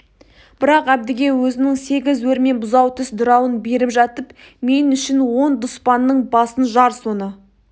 бірақ әбдіге өзінің сегіз өрме бұзаутіс дырауын беріп жатып мен үшін он дұспанның басын жар соны